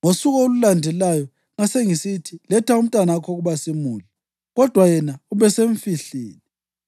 Ngosuku olulandelayo ngasengisithi, ‘Letha umntanakho ukuba simudle.’ Kodwa yena ubesemfihlile.”